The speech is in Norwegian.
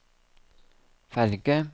ferge